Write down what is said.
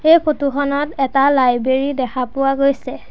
এই ফটো খনত এটা লাইব্ৰেৰী দেখা গৈছে।